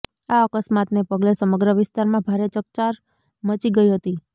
આ અકસ્માતને પગલે સમગ્ર વિસ્તારમાં ભારે ચકચાર મચી ગઇ હતી